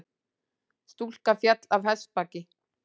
Stúlka féll af hestbaki